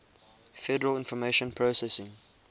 federal information processing